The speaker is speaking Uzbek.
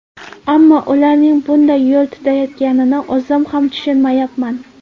Ammo ularning bunday yo‘l tutayotganini o‘zim ham tushunmayapman.